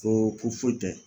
Ko ko foyi tɛ